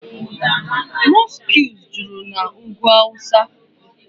Mọskụ juru na ugwu awụsa.